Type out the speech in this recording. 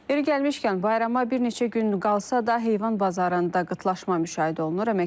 İrəli gəlmişkən bayrama bir neçə gün qalsa da, heyvan bazarında qıtlaşma müşahidə olunur.